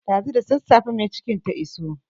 Ɗazu da sassafen mai cikin ta iso.